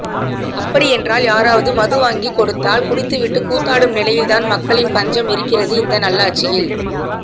அப்படி என்றால் யாராவது மது வாங்கி கொடுத்தால் குடித்து விட்டு கூத்தாடும் நிலையில்தான் மக்களின் பஞ்சம் இருக்கிறது இந்த நல்லாட்சியில்